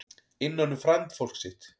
Innan um frændfólk sitt